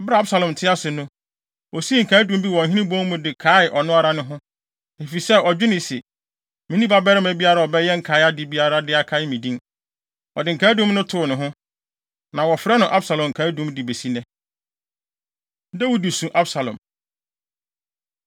Bere a Absalom te ase no, osii nkaedum bi wɔ ɔhene bon mu de kaee ɔno ara ne ho, efisɛ ɔdwenee se, “Minni ɔbabarima biara a ɔbɛyɛ nkae ade biara de akae me din.” Ɔde nkaedum no too ne ho, na wɔfrɛ no Absalom Nkaedum de besi nnɛ. Dawid Su Absalom